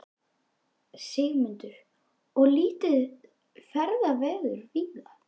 Sigmundur: Og lítið ferðaveður víða?